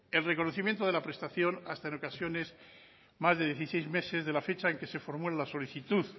el reconocimiento de la prestación hasta en ocasiones más de dieciséis meses de la fecha en que se formula la solicitud